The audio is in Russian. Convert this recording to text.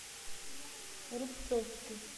рубцовске